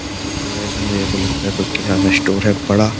देखिए गाइ ये मेरे को लगता है कोई किराना स्टोर है बड़ा --